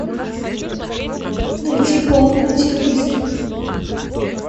найти болт на телевизоре